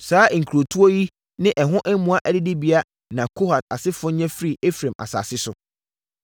Saa nkurotoɔ yi ne ɛho mmoa adidibea na Kohat asefoɔ nya firii Efraim asase so: